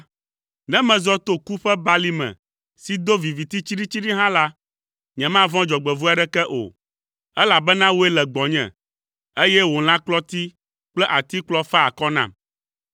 Ne mezɔ to ku ƒe balime si do viviti tsiɖitsiɖi hã la, nyemavɔ̃ dzɔgbevɔ̃e aɖeke o, elabena wòe le gbɔnye, eye wò lãkplɔti kple atikplɔ faa akɔ nam.